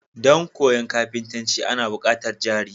Dan koyan kafintanci Ana bukatar jari